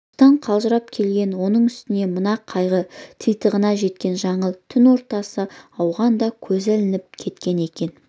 жұмыстан қалжырап келген оның үстіне мына қайғы титығына жеткен жаңыл түн ортасы ауғанда көзі ілініп кеткен екен